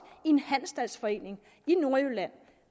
i en handelsstandsforening i nordjylland